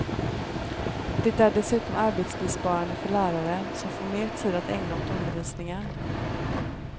Det är dessutom arbetsbesparande för läraren, som får mer tid att ägna åt undervisningen.